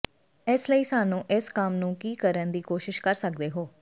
ਇਸ ਲਈ ਸਾਨੂੰ ਇਸ ਕੰਮ ਨੂੰ ਕੀ ਕਰਨ ਦੀ ਕੋਸ਼ਿਸ਼ ਕਰ ਸਕਦੇ ਹੋ